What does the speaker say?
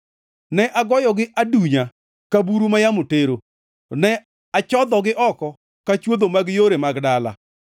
Ne agoyogi adunya ka buru ma yamo tero, ne achodhogi oko ka chwodho mag yore mag dala.